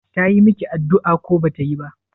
Tayi miki addu'a ko bata yi ba?